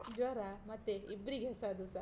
ಜ್ವರ ಮತ್ತೆ ಇಬ್ಬ್ರಿಗೆ, ಅದುಸ.